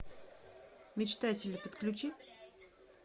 мечтатели подключи